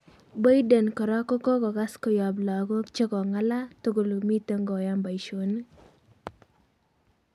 Boyden kora kokokas koyap lagok chekongala tugul kole miten koyan paishonik